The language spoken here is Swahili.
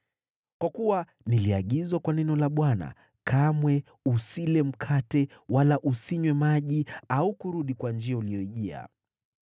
Kwa kuwa niliagizwa kwa neno la Bwana : ‘Kamwe usile mkate wala usinywe maji au kurudi kwa njia uliyojia.’ ”